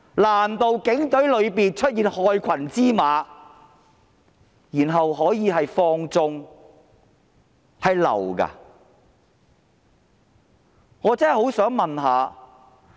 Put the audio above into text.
在警隊內出現害群之馬，然後情況可以被放縱，難道這是假的嗎？